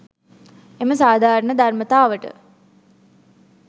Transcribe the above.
එම සාධාරණ ධර්මතාවට